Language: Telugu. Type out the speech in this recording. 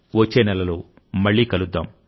వచ్చే నెలలో మళ్ళీ కలుద్దాం